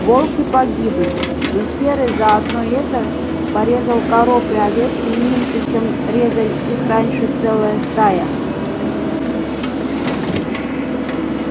волки погибли но серый за одно лето порезал коров и овец не меньше чем резали их раньше целая стая